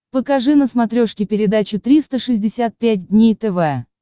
покажи на смотрешке передачу триста шестьдесят пять дней тв